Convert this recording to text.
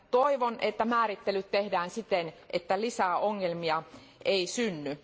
Toivon, että määrittelyt tehdään siten, että lisää ongelmia ei synny.